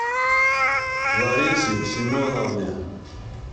ларисе семеновне